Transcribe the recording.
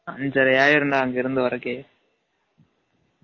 அன்சரை ஆய்டும்டா அங்க இருகந்து வரகே